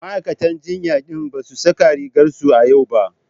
Ma'aikatan jinya din ba su saka rigar su a yau ba.